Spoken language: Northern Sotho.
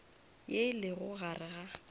ye e lego gare ga